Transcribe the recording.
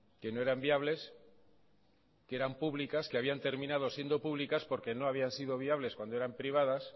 que no eran viables que eran públicas que habían terminado siendo públicas porque no habían sido viables cuando eran privadas